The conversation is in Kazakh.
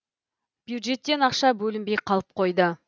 бюджеттен ақша бөлінбей қалып қойды